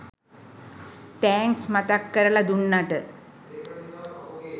thanks මතක් කරලා දුන්නට